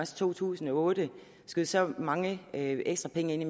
to tusind og otte skød så mange ekstra penge ind i